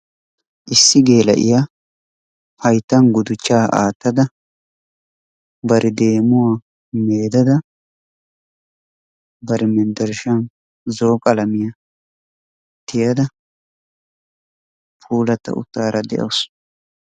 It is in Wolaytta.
Issi geela'iya hayittan gudichchaa aattada bari deemuwa meedada bari menttershshan zo'o qalamiya tiyada puulatta uttaara de'awusu.